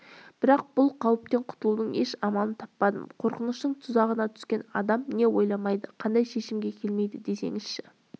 бірақ бұл қауіптен құтылудың еш амалын таппадым қорқыныштың тұзағына түскен адам не ойламайды қандай шешімге келмейді десеңізші